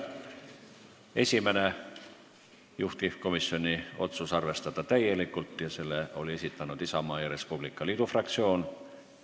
Esimene ettepanek, juhtivkomisjoni otsus on arvestada seda täielikult ja selle esitas Isamaa ja Res Publica Liidu fraktsioon.